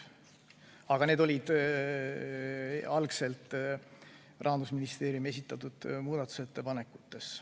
Aga need olid algselt Rahandusministeeriumi esitatud muudatusettepanekutes.